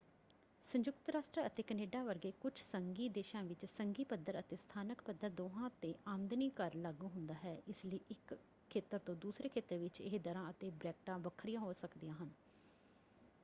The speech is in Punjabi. ਸੰਯੁਕਤ ਰਾਸ਼ਟਰ ਅਤੇ ਕੈਨੇਡਾ ਵਰਗੇ ਕੁੱਝ ਸੰਘੀ ਦੇਸ਼ਾਂ ਵਿੱਚ ਸੰਘੀ ਪੱਧਰ ਅਤੇ ਸਥਾਨਕ ਪੱਧਰ ਦੋਹਾਂ ‘ਤੇ ਆਮਦਨੀ ਕਰ ਲਾਗੂ ਹੁੰਦਾ ਹੈ ਇਸ ਲਈ ਇੱਕ ਖੇਤਰ ਤੋਂ ਦੂਸਰੇ ਖੇਤਰ ਵਿੱਚ ਇਹ ਦਰਾਂ ਅਤੇ ਬਰੈਕਟਾਂ ਵੱਖਰੀਆਂ ਹੋ ਸਕਦੀਆਂ ਹਨ।